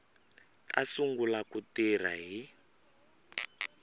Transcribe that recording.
ta sungula ku tirha hi